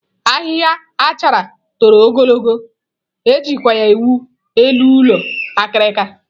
Ahịhịa achara toro ogologo, e jikwa ya ewu elu ụlọ akirika.